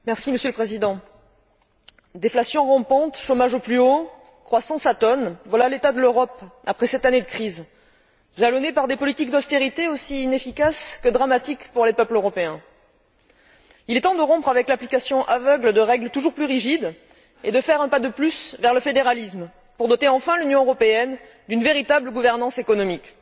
Monsieur le Président, déflation rampante, chômage au plus haut, croissance atone, voilà l'état de l'Europe après sept années de crise, jalonnées par des politiques d'austérité aussi inefficaces que dramatiques pour les peuples européens. Il est temps de rompre avec l'application aveugle de règles toujours plus rigides et de faire un pas de plus vers le fédéralisme, pour doter enfin l'Union européenne d'une véritable gouvernance économique.